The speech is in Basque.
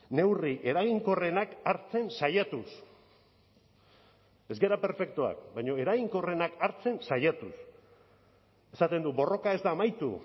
neurri eraginkorrenak hartzen saiatuz ez gara perfektuak baina eraginkorrenak hartzen saiatuz esaten du borroka ez da amaitu